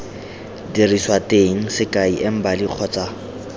diriswa teng sekai embali kgotsa